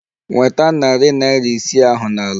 Nweta narị naira isii ahụ n'ala!